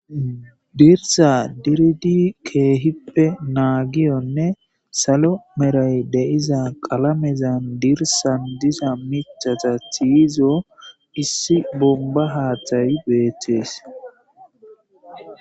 Dirsa dirdi keehippe naagiyonne salo meray deiza qalamezan dirsan diza michata tiyizo issi bomba haathayi beethtees